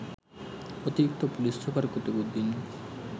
অতিরিক্ত police super Qutbuddin